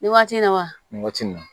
Nin waati nin na wa nin waati in na